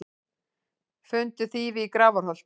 Fundu þýfi í Grafarholti